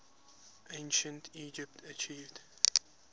ancient egypt achieved